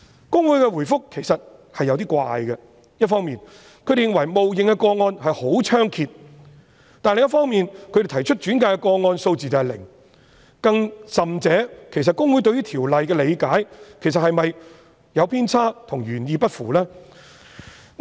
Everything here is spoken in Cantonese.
公會的答覆其實有點奇怪，一方面認為冒認的個案十分猖獗，但另一方面，轉介的個案數字是零，更甚者，其實公會對於《條例》的理解是否有偏差，與原意不符？